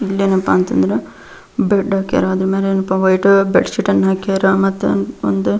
ಇಲ್ಲೆನಪ್ಪ ಅಂತ ಅಂದ್ರೆ ಬೆಡ್ ಹಾಕ್ಯಾರ ಅದ್ರ ಮೇಲೆ ವೈಟ್ ಬೆಡ್ಶೀಟ್ ಹಾಕ್ಯಾರ ಮತ್ತೆ ಒಂದು--